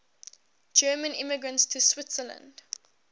german immigrants to switzerland